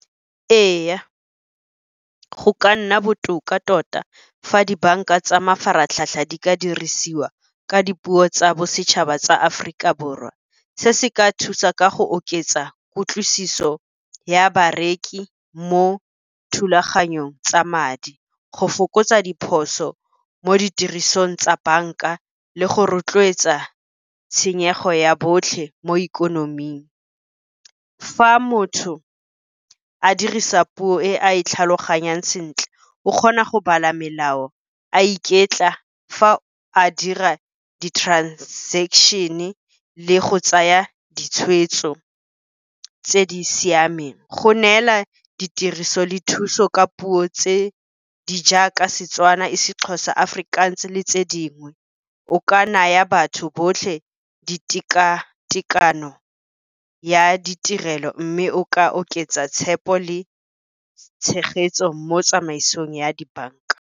Ee, go ka nna botoka tota fa dibanka tsa mafaratlhatlha di ka dirisiwa ka dipuo tsa bosetšhaba tsa Aforika Borwa. Se se ka thusa ka go oketsa kutlwisiso ya bareki mo thulaganyong tsa madi, go fokotsa diphoso mo ditirisong tsa banka, le go rotloetsa tshenyego ya botlhe mo ikonoming. Fa motho a dirisa puo e a e tlhaloganyang sentle, o kgona go bala melao a iketla fa a dira di-transaction-e le go tsaya ditshweetso tse di siameng. Go neela ditiriso le thuso ka dipuo tse di jaaka seTswana, isiXhosa, Afrikaans le tse dingwe, o ka naya batho botlhe di teka-tekano ya ditirelo, mme o ka oketsa tshepo le tshegetso mo tsamaisong ya dibanka.